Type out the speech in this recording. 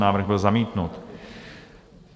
Návrh byl zamítnut.